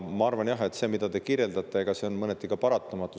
Ma arvan, et see, mida te kirjeldate, on mõneti paratamatu.